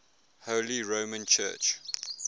holy roman church